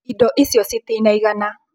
Indo icio citinaigana